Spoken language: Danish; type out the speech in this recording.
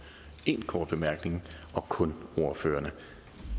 én kort bemærkning og kun ordførerne